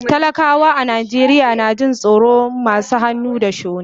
Talakawa a Najeriya na jin tsoron masu hannu da shuni.